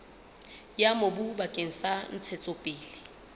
ya mobu bakeng sa ntshetsopele